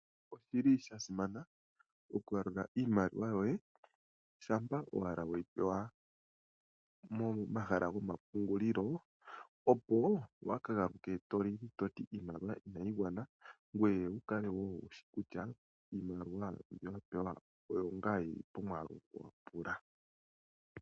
Oshili sha simana oku yalula iimaliwa yoye shampa owala weyi pewa momahala gwomapungulilo opo waaka galuke to lili toti iimaliwa inayi gwana ngoye wuka kale wo wushi kutya mbyo wa pewa oyo ngaa omwaalu wa pungula.